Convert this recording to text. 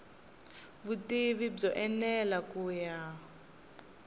vutivi byo enela ku ya